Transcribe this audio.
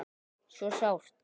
Svo sárt.